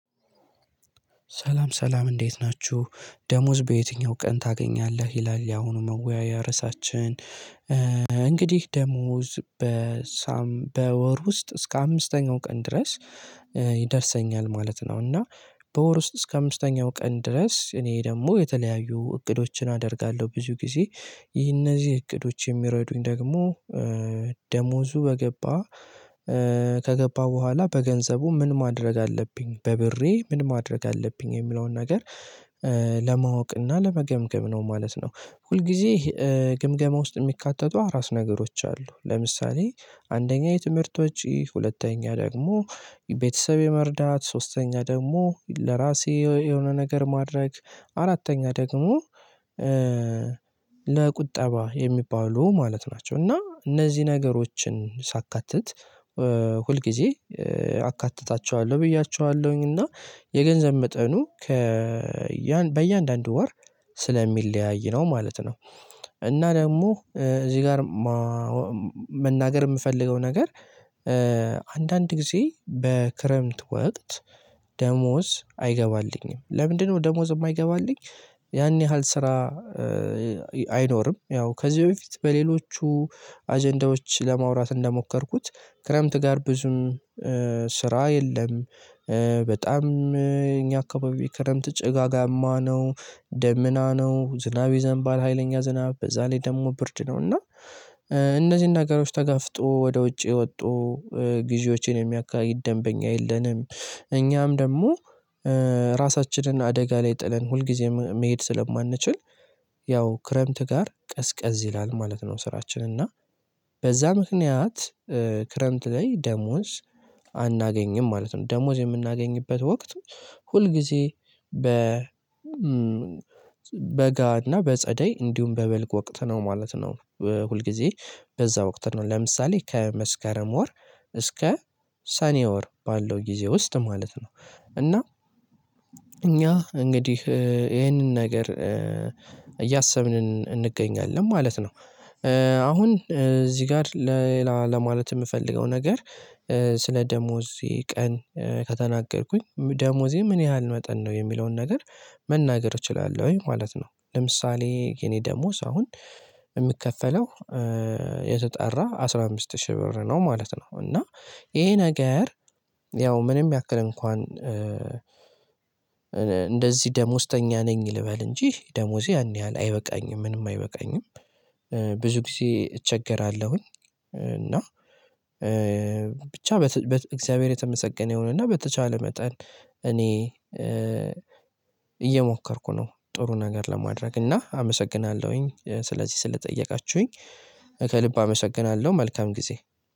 ሰላም ሰላም እንዴት ናችሁ ደሞዝ በየትኛው ቀን ታገኛለህ ይላል ያሁኑ መወያያ ርዕሳችን እንግዲህ ደሞዝ በወር ውስጥ እስከ አምስተኛው ቀን ድረስ ይደርሰኛል ማለት ነው። እና በወር ውስጥ እስከ አምስተኛው ቀን ድረስ እኔ ደግሞ የተለያዩ እቅዶችን አደርጋለሁ ብዙ ጊዜ ይህ እነዚህ እቅዶች የሚረዱኝ ደግሞ ደሞዙ በገባ ከገባ በኋላ በገንዘቡ ምን ማድረግ አለብኝ በብሬ ምን ማድረግ አለብኝ የሚለውን ነገር ለማወቅ እና ለመገምገም ነው ማለት ነው። ሁል ጊዜ ግምገማ ውስጥ የሚካተቱ አራት ነገሮች አሉ። ለምሳሌ አንደኛ የትምህርት ወጪ ሁለተኛ ደግሞ ቤተሰብ የመርዳት ሶስተኛ ደግሞ ለራሴ የሆነ ነገር ማድረግ አራተኛ ደግሞ ለቁጠባ የሚባሉ ማለት ናቸው። እና እነዚህ ነገሮችን ሳካትት ሁልጊዜ አካትታቸዋለሁ ብያቸዋለሁኝ እና የገንዘብ መጠኑ ከ በእያንዳንዱ ወር ስለሚለያይ ነው ማለት ነው። እና ደግሞ እዚህ ጋር መናገር የምፈልገው ነገር አንዳንድ ጊዜ በክረምት ወቅት ደሞዝ አይገባልኝም። ለምንድነው ደሞዝ የማይገባልኝ? ያን ያህል ስራ አይኖርም። ያው ከዚህ በፊት በሌሎቹ አጀንዳዎች ለማውራት እንደሞከርኩት ክረምት ጋር ብዙም ስራ የለም። በጣም እኛ አካባቢ ክረምት ጭጋጋማ ነው ደመና ነው ዝናብ ይዘንባል ሀይለኛ ዝናብ በዛ ላይ ደግሞ ብርድ ነው። እና እነዚህን ነገሮች ተጋፍጦ ወደ ውጪ ወጥቶ ጊዜዎችን የሚያካሂድ ደንበኛ የለንም። እኛም ደግሞ ራሳችንን አደጋ ላይ ጥለን ሁልጊዜም መሄድ ስለማንችል ያው ክረምት ጋር ቀዝቀዝ ይላል ማለት ነው። ስራችን እና በዛ ምክንያት ክረምት ላይ ደሞዝ አናገኝም ማለት ነው። ደሞዝ የምናገኝበት ወቅት ሁል ጊዜ በ በጋ እና በጸደይ እንዲሁም በበልግ ወቅት ነው ማለት ነው። ሁል ጊዜ በዛ ወቅት ነው ለምሳሌ ከመስካረም ወር እስከ ሰኔ ወር ባለው ጊዜ ውስጥ ማለት ነው። እና እኛ እንግዲህ ይሄንን ነገር እያሰብን እንገኛለን ማለት ነው። አሁን እዚህ ጋር ለሌላ ለማለት የምፈልገው ነገር ስለ ደሞዜ ቀን ከተናገርኩኝ ደሞዜ ምን ያህል መጠን ነው የሚለውን ነገር መናገር እችላለሁ ወይ? ማለት ነው። ለምሳሌ የኔ ደሞዝ አሁን የሚከፈለው የተጠራ አስራ አምስት ሺህ ብር ነው ማለት ነው። እና ይሄ ነገር ያው ምንም ያክል እንኳን እንደዚህ ደሞዝተኛ ነኝ ልበል እንጂ ደሞዜ ያን ያህል አይበቃኝም ምንም አይበቃኝም። ብዙ ጊዜ እቸገራለሁኝ። እና ብቻ በእግዚአብሔር የተመሰገነ ይሆነና በተቻለ መጠን እኔ እየሞከርኩ ነው። ጥሩ ነገር ለማድረግ እና አመሰግናለሁኝ ስለዚህ ስለጠየቃችሁኝ ከልብ አመሰግናለሁ። መልካም ጊዜ።